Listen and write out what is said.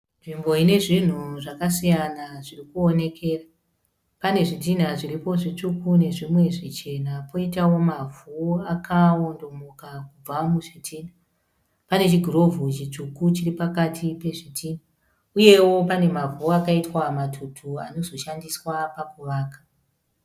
Nzvimbo ine zvinhu zvakasiyana zvirikuonekera. Pane zvidhinha zviripo zvitsvuku nezvimwe zvichena. Poitawo mavhu akawondomoka kubva muzvidhinha. Pane chigirovho chitsvuku chiri pakati pezvidhinha uyewo pane mavhu akaitwa matutu anozoshandiswa pakuvaka.